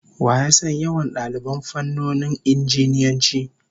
Wa ya san yawan daliban fannonin Injiniyanci?